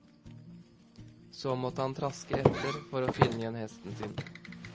Så måtte han traske etter, for å finne igjen hesten sin.